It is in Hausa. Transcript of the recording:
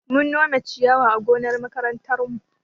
Mun nome ciyawa a gonar makarantarmu.